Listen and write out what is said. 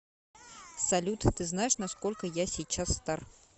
салют ты знаешь на сколько я сейчас стар